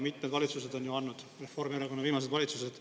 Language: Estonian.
Mitmed valitsused on andnud, Reformierakonna viimased valitsused.